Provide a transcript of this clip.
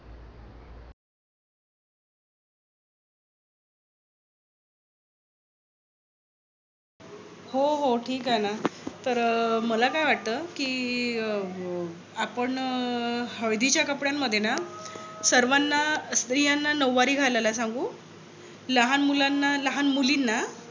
हो हो. ठीक आहे ना. तर मला काय वाटतय कि अं आपण हळदीच्या कपड्यान मध्ये ना सर्वांना स्त्रियांना नौवारी घालायला सांगू. लहान मुलांना लहान मुलींना